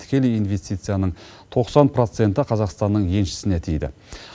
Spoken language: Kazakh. тікелей инвестицияның тоқсан проценті қазақстанның еншісіне тиді